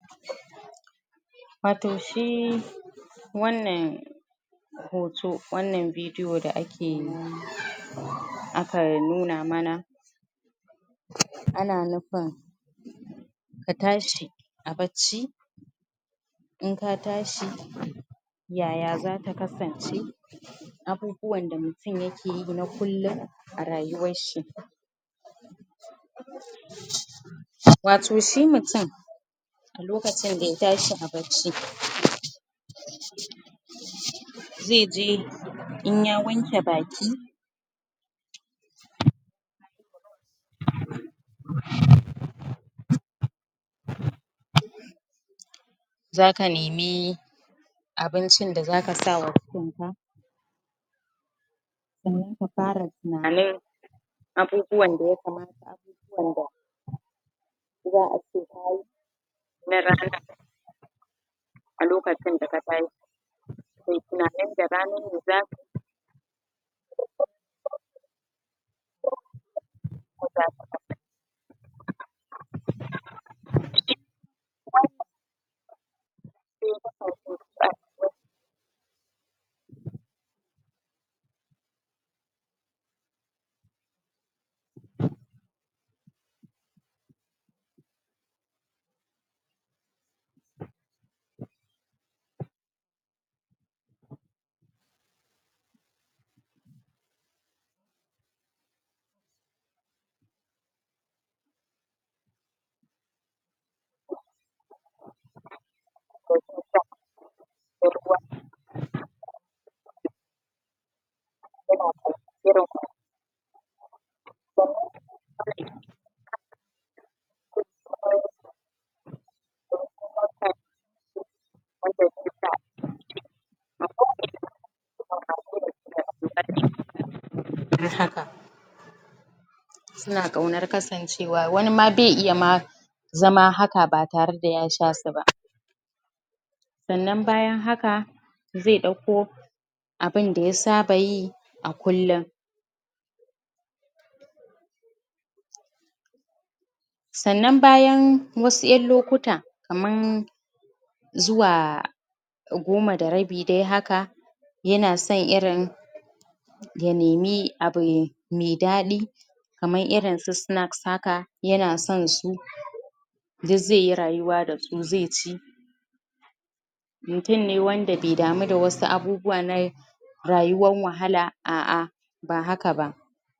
Watau shi wannan hoto wannan video da ake aka nuna mana ana nufin ka tashi a bacci in ka tashi yaya zaka kasance abubuwan da mutum yake yi na kullum a rayuwar shi watau shi mutum a lokacin da ya tashi a bacci zai ji in ya wanke baki za ka nemi abincin da zaka sawa ma sannan ka fara tunanin abubuwan da ya kamata da za a ce kayi na ranan a lokacin da ka tashi shin tunanin da rana me zaka yi suna ƙaunar kasancewa wani ma bai iya ma zama haka ba tare da ya sha su ba sannan bayan haka zai ɗauko abunda ya saba yi a kullum sannan bayan wasu ƴan lokuta kaman zuwa goma da rabi dai haka yana son irin ya nemi abu mai daɗi kamar irin su sancks haka yana son su duk zai yi rayuwa da su zai ci mutum ne wanda bai damu da wasu abubuwa na rayuwan wahala a'a ba haka ba.